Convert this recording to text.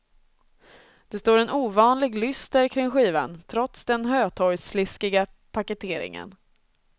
Det står en ovanlig lyster kring skivan, trots den hötorgssliskiga paketeringen.